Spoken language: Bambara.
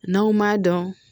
N'anw m'a dɔn